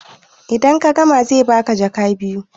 idan ka gama zai baka jaka biyu